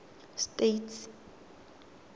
states